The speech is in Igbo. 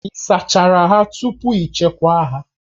Ị sachachara ha tupu ị chekwaa ha